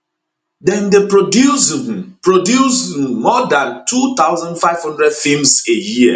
dem dey produce um produce um more dan 2500 feems a year